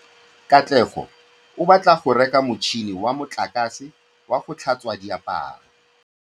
Katlego o batla go reka motšhine wa motlakase wa go tlhatswa diaparo.